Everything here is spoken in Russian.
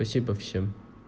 спасибо всем